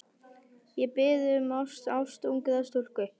Ég bið um ást, ást ungrar stúlku.